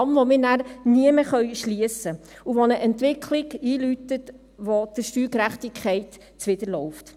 Einen Damm, den wir dann nie mehr schliessen können, und dies läutet eine Entwicklung ein, die der Steuergerechtigkeit zuwiderläuft.